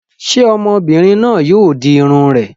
Ṣé ọmọbìnrin náà yóò di irun rẹ̀?